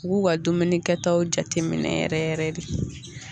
U k'u ka dumuni kɛtaw jateminɛ yɛrɛ yɛrɛ de